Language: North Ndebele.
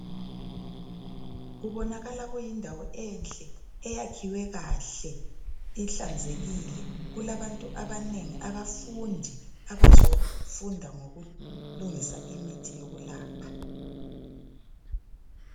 kubonakala kuyindawo enhle eyakhiwe kahle ihlanzekile kulabantu abanengi abafundi abazofunda ngokulungisa imithi yokulapha